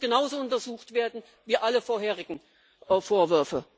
Das muss genauso untersucht werden wie alle vorherigen Vorwürfe.